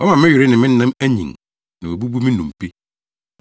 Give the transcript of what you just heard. Wama me were ne me nam anyin Na wabubu me nnompe.